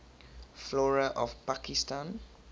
flora of pakistan